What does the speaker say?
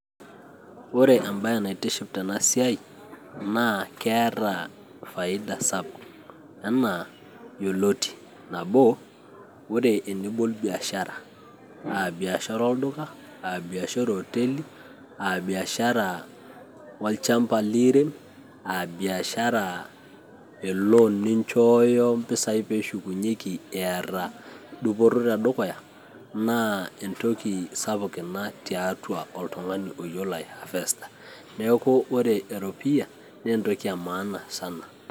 ore embae naitiship tena siai naa keeta faida sapuk enaa yioloti nabo ore enibol biashara aa biashara olduka aa biashara ee hoteli aa biashara olchamba liirem aa biashara e lon ninchooyo mpisai peeshukunyieki eeta dupoto tedukuya naa entoki sapuk ina tiatua oltung'ani oyiolo aihavester neeku ore eropiyia naa entoki e maana sana